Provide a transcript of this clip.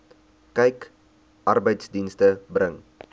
kyk arbeidsdienste bring